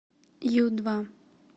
ю два